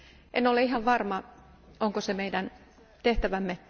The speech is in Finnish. En ole ihan varma, onko se meidän tehtävämme.